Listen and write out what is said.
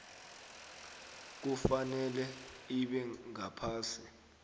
kufanele ibe ngaphasi